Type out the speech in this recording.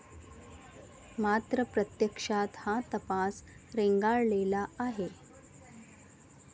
मात्र प्रत्यक्षात हा तपास रेंगाळलेला आहे.